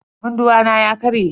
Munduwa na ya karye.